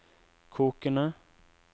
kokende